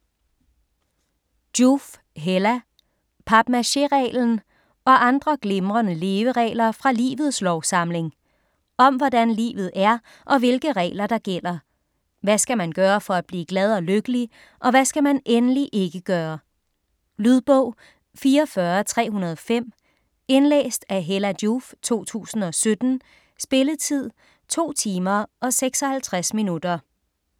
Joof, Hella: Papmaché-reglen: og andre glimrende leveregler fra livets lovsamling Om hvordan livet er og hvilke regler, der gælder. Hvad skal man gøre for at blive glad og lykkelig og hvad skal man endelig ikke gøre. Lydbog 44305 Indlæst af Hella Joof, 2017. Spilletid: 2 timer, 56 minutter.